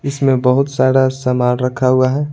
इसमें बहुत सारा सामान रखा हुआ है।